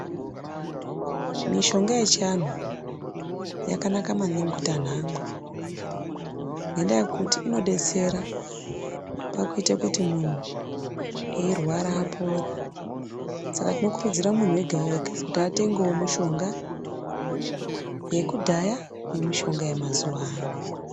Mishonga yechianhu, yakanaka maningi kuti anhu amwe, ngendaa yekuti inodetsera pakuyite kuti munhu eyirwara apore, saka tinokurudzira munhu ega-ega, kuti atengewo mushonga yekudhaya nemushonga yemazuwaano.